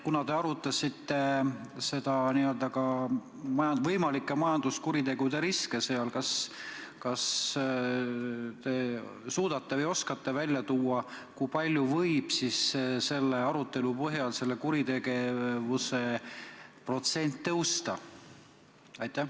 Kuna te arutasite ka võimalike majanduskuritegude riske, kas te siis suudate või oskate välja tuua, kui palju võib selle arutelu põhjal sellise kuritegevuse protsent tõusta?